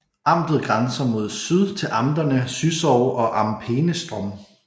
Amtet grænser mod syd til amterne Züssow og Am Peenestrom